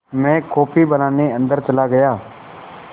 मैं कॉफ़ी बनाने अन्दर चला गया